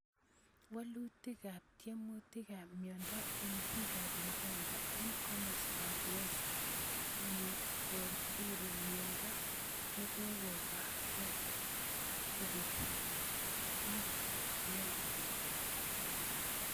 Woluutiikaab tyemuutiikaab myondo eng biikaab Uganda eng komostaab West Nilkoburu myondo nekokokake kobeek eng ngwonye